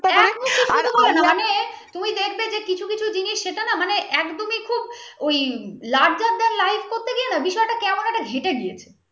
ওই larger than light করতে গিয়ে না বিষয়টা কেমন একটা ঘেঁটে দিয়েছে